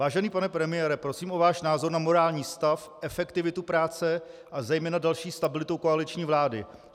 Vážený pane premiére, prosím o váš názor na morální stav, efektivitu práce a zejména další stabilitu koaliční vlády.